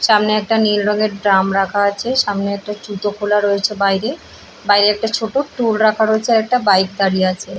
সামনে একটা নীল রং এর ড্রাম রাখা আছে। সামনে একটা জুতো খোলা রয়েছে বাইরে। বাইরে একটা ছোট টুল রাখা রয়েছে। আর একটা বাইক দাঁড়িয়ে আছে।